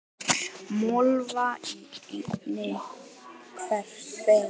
Mölva í henni hvert bein.